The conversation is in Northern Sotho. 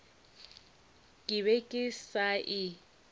ke be ke sa e